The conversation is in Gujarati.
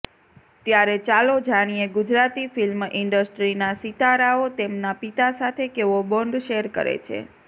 ત્યારે ચાલો જાણીએ ગુજરાતી ફિલ્મ ઈન્ડસ્ટ્રીના સિતારાઓ તેમના પિતા સાથે કેવો બોન્ડ શેર કરે છે